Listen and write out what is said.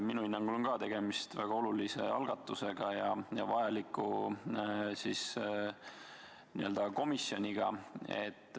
Minu hinnangul on ka tegemist väga olulise algatusega ja järelduste tegemiseks vajaliku komisjoniga.